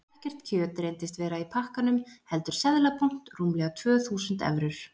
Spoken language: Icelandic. Ekkert kjöt reyndist vera í pakkanum heldur seðlabúnt, rúmlega tvö þúsund evrur.